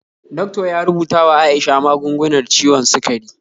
Doctor ya rubuta wa Aisha magungunar ciwon sikari